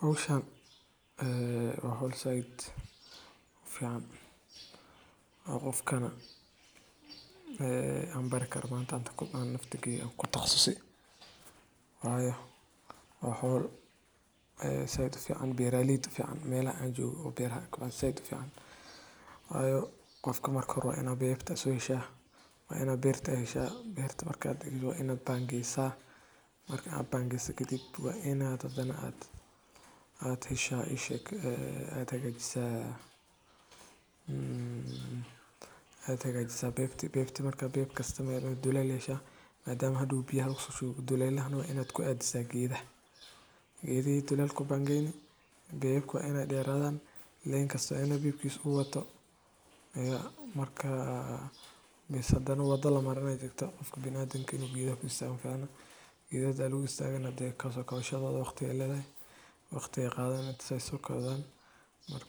Howshan waa howl zaid u fican. Qofka marka hore, Beeraleydu waa laf-dhabarta nolosha bulshooyinka badankood, maadaama ay ka shaqeeyaan soo saarista cuntooyinka aasaasiga ah ee bulshada u baahan tahay. Waxay dadaal badan geliyaan beerista dalagyada kala duwan sida hadhuudhka, khudaarta, miraha iyo cuntooyinka kale ee dabiiciga ah, taasoo gacan ka geysata horumarinta dhaqaalaha iyo sugnaanta cunada. Intaa waxaa dheer, beeraleydu waxay la tacaalaan caqabado badan sida isbedelka cimilada, abaaraha, iyo helitaanka suuqyo fiican oo ay wax ku iibiyaan. Si kastaba ha ahaatee, shaqadooda adag iyo dulqaadkooda sare ayaa